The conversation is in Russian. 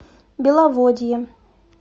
беловодье